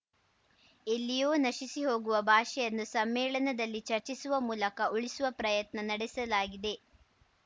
ಎಲ್ಲಿಯೋ ನಶಿಸಿ ಹೋಗುವ ಭಾಷೆಯನ್ನು ಸಮ್ಮೇಳನದಲ್ಲಿ ಚರ್ಚಿಸುವ ಮೂಲಕ ಉಳಿಸುವ ಪ್ರಯತ್ನ ನಡೆಸಲಾಗಿದೆ